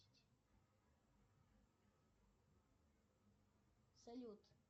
салют